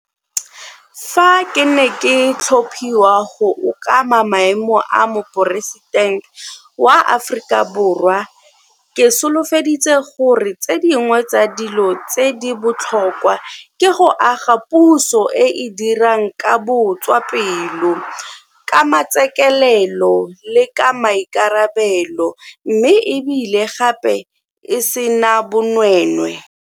Fa ke ne ke tlhophiwa go okama maemo a Moporesitente wa Aforika Borwa, ke solofedi tse gore tse dingwe tsa dilo tse di botlhokwa ke go aga puso e e dirang ka botswa pelo, ka matsetseleko le ka maikarabelo mme e bile gape e sena bonweenwee.